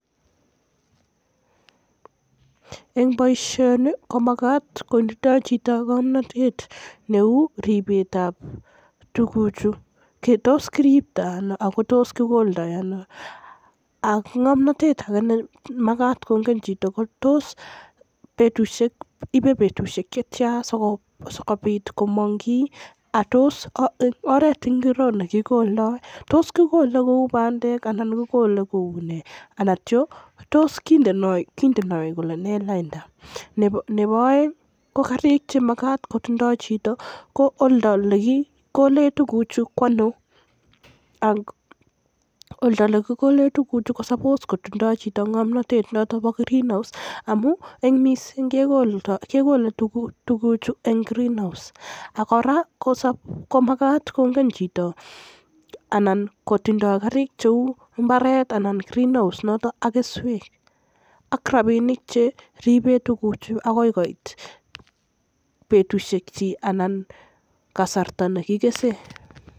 En boisioni komagat kotindo chito ng'omnotet kou ripet ab tuguchu, tos kiriptoi ano ako tos kikoldoi ano ak tos ibe betusiek chetia sikobit komong' ako tos oret ngiro ole kikoldoi? Tos kikole kou bandek anan kikole kou nei, anan kindo kou ne lainda, karik chenyolu kotinye chito ko oldo ole kikole tuguk chuto ko ano, nyolu kotinye chito ng'omtotet noton bo Greenhouse amun kikole tuguchu en Greenhouse ako magat kotinye chito karik cheu Greenhouse anan mbaret ,keswek, rapinik chekiribe tuguchu agoi koit betusiek chuu anan kasarta nekikesei.